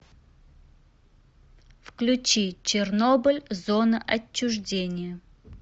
включи чернобыль зона отчуждения